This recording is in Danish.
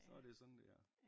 Så er det sådan det er